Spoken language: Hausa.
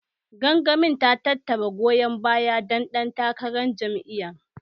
Gangamin ta tattara goyon bayan dan ɗan takarar jam'iyyar.